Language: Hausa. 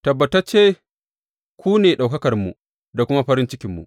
Tabbatacce, ku ne ɗaukakarmu da kuma farin cikinmu.